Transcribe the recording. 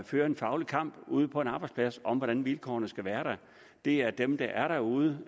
føre en faglig kamp ude på arbejdspladserne om hvordan vilkårene skal være det er dem der er derude